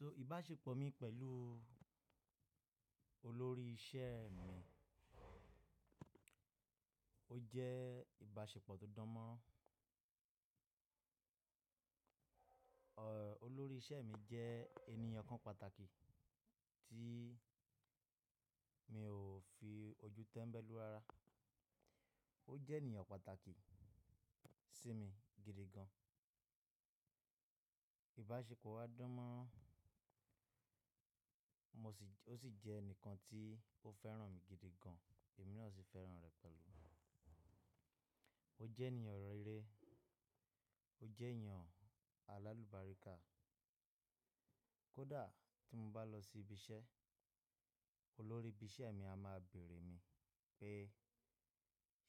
So ìbáṣepọ̀ mi pẹ̀lú olórí iṣẹ́ mi ó jẹ́ ìbáṣepọ̀ tó dánmọ́ron. Olórí iṣẹ́ mi jẹ́ ènìyàn kan pàtàkì tí mi ò fi ojú tẹ́mbẹ́lú rara. Ó jẹ́ ènìyàn pàtàkì sí mi gidi gan. Ìbáṣepọ̀ wa dánmọ́rán, mo sì j-- ó sì jẹ́ ẹnìkan tí ó fẹ́ràn mi gidi gan, èmi náà sì fẹ́ràn rẹ̀ pẹ̀lú. Ó jẹ́ ènìyàn rere, ó jẹ́ ènìyàn alálùbáríkà. Kódà tí mo bá lọ sí ibi iṣẹ́, olórí ibi iṣẹ́ mi á máa bèèrè mi pé,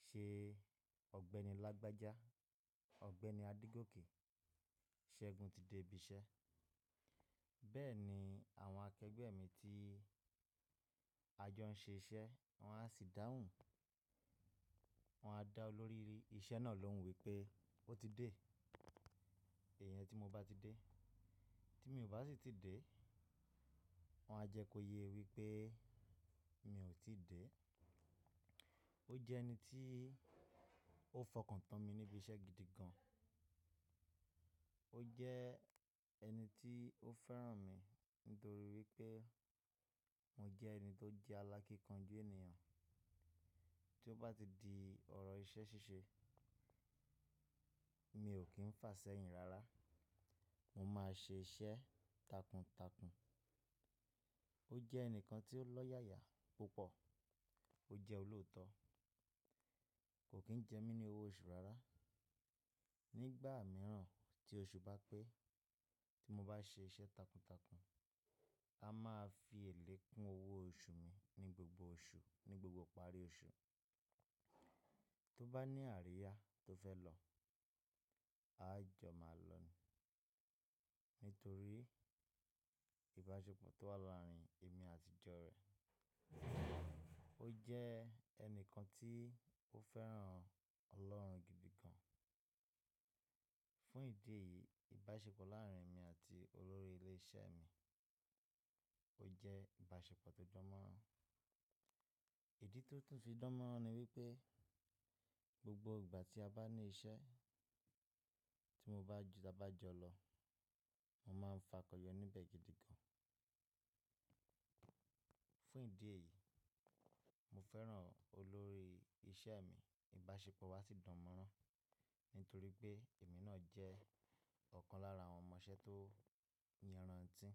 "Ṣé Ọ̀gbẹ́ni Lágbájá, Ọ̀gbẹ́ni Adégòkè, Ṣẹ́gun ti dé ibi iṣẹ́." Bẹ́ẹ̀ ni àwọn akẹgbẹ́ mi tí a jọ ń ṣe iṣẹ́, wọ́n á sì dáhùn, wọ́n á dá olórí iṣẹ́ náà lóhùn wípé ó ti dé, iyen tí mo bá ti dé. Tí mi ò bá sì ti dé, wọ́n á jẹ kó yẹ wípé mi ò tí dé. Ó jẹ́ ẹni tí ó fọkàn tán mi níbi iṣẹ́ gidi gan. Ó jẹ́ ẹni tí ó fẹ́ràn mi nítorí wípé mo jẹ́ ẹni tó jẹ́ alákínkanjú ènìyàn. Tí ó bá ti di ọ̀rọ̀ iṣẹ́ ṣíṣe, mi ò kí ń fà ṣẹ́yìn rárá, mo máa ṣe iṣẹ́ takuntakun. Ó jẹ́ ẹnìkan tí ó lọ́yàyà púpọ̀, ó jẹ́ olóòótọ́, kò kí ń jẹ mí ní owó oṣù rárá. Ni ìgbà mìíràn tí oṣù bá pé tí mo bá ṣe iṣẹ́ takuntakun, a máa fi èlé kún owó oṣù mi ní gbogbo oṣù, ní gbogbo parí oṣù. Tí ó bá ní àríyá tó fẹ́ lọ, a jọ máa lọ ni nítorí ìbáṣepọ̀ tó wà láàrin èmi àti jọ rẹ̀. Ó jẹ́ ẹnìkan tí ó fẹ́ràn Ọlọ́run gidi gan. Fún ìdí èyí, ìbáṣepọ̀ láàárín mi àti olórí ilé iṣẹ́ mi ó jẹ́ ìbáṣepọ̀ tó dánmọ́rán. Ìdí tó tún fi dánmọ́rán ni wípé gbogbo ìgbà tí a bá ní iṣẹ́ tí mo bá ju-- tí a bá jọ lọ, wọ́n máa ń fakọ̀ yọ níbẹ̀ gidi gan. Fún ìdí èyí, mo fẹ́ràn olórí iṣẹ́ mi. Ìbáṣepọ̀ wa sì dánmọ́rán nítorí pé èmi náà jẹ́ ọ̀kan lára àwọn ọmọ iṣẹ́ tó yerantí.